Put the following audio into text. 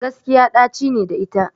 Gaskiya ɗaci ne da ita